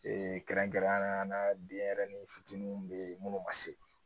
kɛrɛnkɛrɛnnenya la denyɛrɛnin fitininw be yen munnu ma se